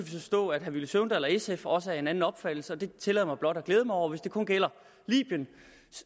forstå at herre villy søvndal og sf også er af en anden opfattelse og det tillader jeg mig blot at glæde mig over hvis det kun gælder libyen